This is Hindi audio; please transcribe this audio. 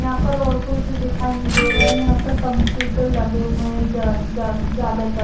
यहां पर और कोई तो दिखाई नहीं दे रहा है यहां पर कंप्यूटर लगे हुए हैं ज्यादातर--